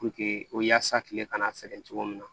o yaasa kile kana sɛgɛn cogo min na